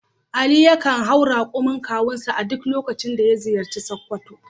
Ali yakan hau rakumin kawunsa a duk lokacin da ya ziyarci Sokoto.